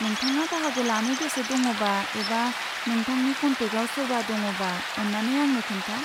नोंथाङा बाहागो लानो गोसो दङबा एबा नोंथांनि कन्टेकआव सोरबा दङबा, अन्नानै आंनो खोन्था।